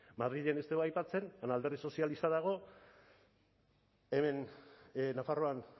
madrilen ez dugu aipatzen alderdi sozialista dago hemen nafarroan